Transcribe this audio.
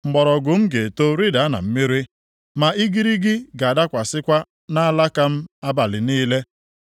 Mgbọrọgwụ m ga-eto rịda na mmiri, na igirigi ga-adakwasịkwa nʼalaka m abalị niile.